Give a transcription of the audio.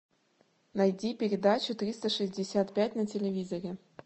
найди передачу триста шестьдесят пять на телевизоре